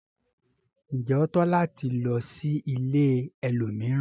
Njé o tọ́ láti lò sí ìlẹ̀ ẹlòmíràn?